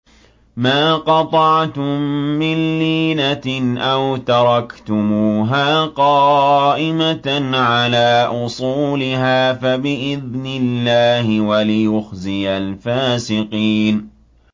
مَا قَطَعْتُم مِّن لِّينَةٍ أَوْ تَرَكْتُمُوهَا قَائِمَةً عَلَىٰ أُصُولِهَا فَبِإِذْنِ اللَّهِ وَلِيُخْزِيَ الْفَاسِقِينَ